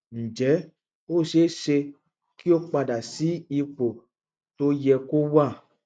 ǹjẹ ó ṣe é ṣe kí ó padà sí ipò tó yẹ kó wà